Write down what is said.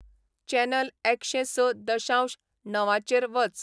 channel एकशें स दशांश णवाचेर वच